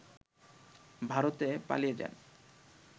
ভারতে পালিয়ে যান